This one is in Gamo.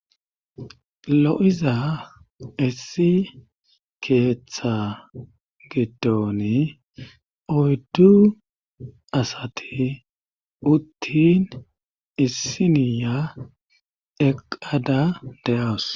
Lo,iza essi keeththa gitooni oyddu asati uttin issiniya eqada de hawus